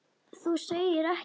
Þú segir ekki.